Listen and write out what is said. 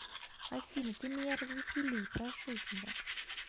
афина ты меня развесели прошу тебя